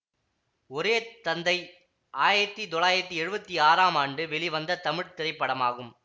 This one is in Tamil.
ஒரே தந்தை ஆயத்தி தொள்ளாயிரத்தி எழுவத்தி ஆறாம் ஆண்டு வெளிவந்த தமிழ் திரைப்படமாகும்